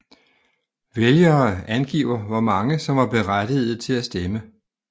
Vælgere angiver hvor mange som var berettigede til at stemme